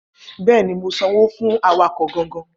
Bẹẹni, mò sán wò, fún àwákò gangan.